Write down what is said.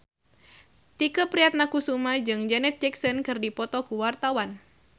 Tike Priatnakusuma jeung Janet Jackson keur dipoto ku wartawan